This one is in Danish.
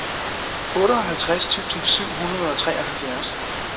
otteoghalvtreds tusind syv hundrede og treoghalvfjerds